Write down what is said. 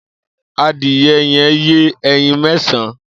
Ádìẹ yẹ̀n yé ẹ̀yín mẹ̀sãn